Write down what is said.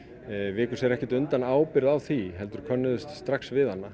viku sér ekki undan ábyrgð á því og könnuðust strax við hana